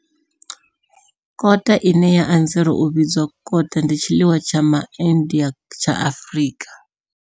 Kota bunny chow, ine ya anzela u vhidzwa kota, ndi tshiḽiwa tsha Ma India tsha Afrika.